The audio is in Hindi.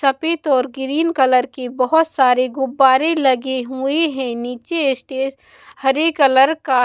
सफेद और ग्रीन कलर के बहुत सारे गुब्बारे लगे हुए हैं नीचे स्टेज हरे कलर का--